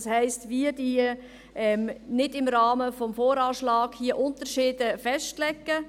Das heisst, wir legen nicht im Rahmen des VA Unterschiede fest.